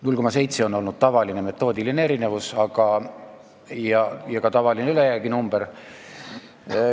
0,7% on olnud tavaline metoodikast tulenenud erinevus ja ka tavaline ülejääginumber.